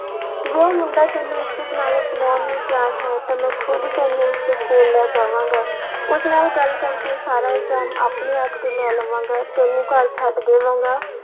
ਜੇ ਉਹ ਮੁੰਡਾ ਤੈਨੂੰ ਇੱਜਤ ਨਾਲ ਅਪਨਾਉਣ ਨੂੰ ਤਿਆਰ ਹੈ ਤਾਂ ਮੈਂ ਖੁੱਦ ਤੈਨੂੰ ਉਸਦੇ ਕੋਲ ਲੈ ਜਾਵਾਂਗਾ ਉਸ ਨਾਲ ਗੱਲ ਕਰਕੇ ਸਾਰਾ ਇਲਜਾਮ ਆਪਣੇ ਆਪ ਤੇ ਲੈ ਲਵਾਂਗੇ ਤੈਨੂੰ ਘਰ ਛੱਡ ਦੇਵਾਂਗਾ।